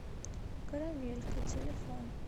карамелька телефон